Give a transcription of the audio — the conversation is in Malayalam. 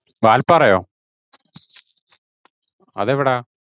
വാല്പാറയോ? അതെവിടാ?